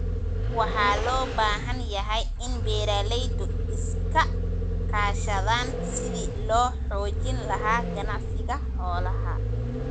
Waxa loo baahan yahay in beeralaydu iska kaashadaan sidii loo xoojin lahaa ganacsiga xoolaha.